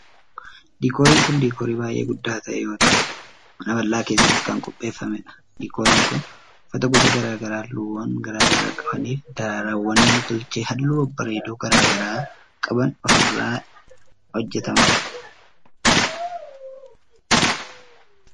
Diikooriin kun diikoorii baay'ee guddaa ta'e yoo ta'u, mana bal'aa keessatti kan qopheeffamee dha. Diikooriin kun, uffata gosa garaa garaa haalluuwwan garaa garaa qabanii fi daraaraawwan nam tolchee haalluu babbareedoo garaa garaa qaban irraa hojjataman.